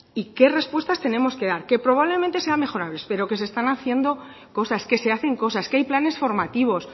y qué respuestas tenemos que dar que probablemente sea mejorables pero que se están haciendo cosas que se hacen cosas que hay planes formativos